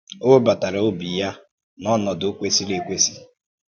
Ọ wébatàrà òbì ya n’ọnọdụ kwesíìrì ekwèsì.